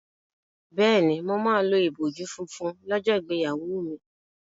Bẹ́ẹ̀ni, mo máa lo ìbòjú funfun lọ́jọ́ ìgbéyàwó mi.